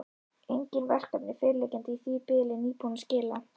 Engin verkefni fyrirliggjandi í því bili, nýbúinn að skila.